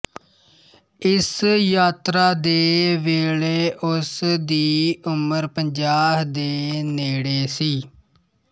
ਇਸ ਯਾਤਰਾ ਦੇ ਵੇਲੇ ਉਸ ਦੀ ਉਮਰ ਪੰਜਾਹ ਦੇ ਨੇੜੇ ਸੀ